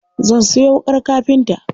Zan sayo wuƙar kafinta.